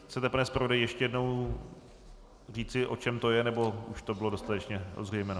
Chcete, pane zpravodaji, ještě jednou říci, o čem to je, nebo už to bylo dostatečně ozřejmeno?